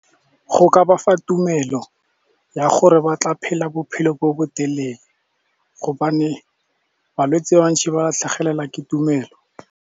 Go ka bafa tumelo ya gore ba tla phela bophelo bo botelele gobane balwetse ba bantšhi ba tlhagelelwa ke tumelo.